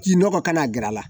K'i nɔgɔ kana gɛrɛ a la